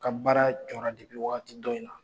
Ka baara jɔ la waati dɔ in na.